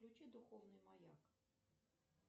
включи духовный маяк